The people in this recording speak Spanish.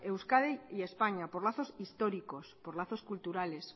euskadi y españa por lazos históricos por lazos culturales